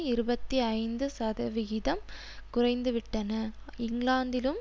இருபத்தி ஐந்து சதவிகிதம் குறைந்துவிட்டன இங்கிலாந்திலும்